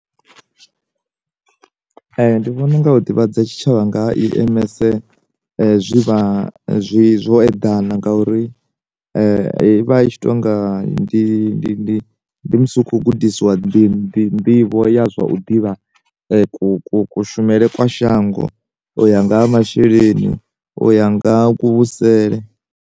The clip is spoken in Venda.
Ndi vhona unga u ḓivhadza tshitshavha nga ha EMS zwi vha zwi zwo eḓana ngauri vha i tshi to nga ndi ndi ndi ndi musi u khou gudisiwa ndi nḓivho ya zwa u ḓivha ku ku ku shumele kwa shango u ya nga ha masheleni uya nga ku vhusele.